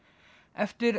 eftir